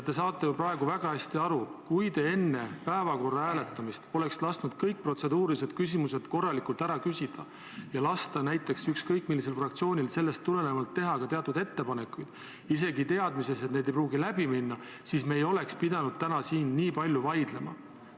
Te saate ju praegu väga hästi aru, et kui te oleksite enne päevakorra hääletamist lasknud kõik protseduurilised küsimused korralikult ära küsida ja ükskõik millisel fraktsioonil sellest tulenevalt ka teatud ettepanekud teha – isegi teades, et need ei pruugi läbi minna –, siis poleks me pidanud täna siin nii palju vaidlema.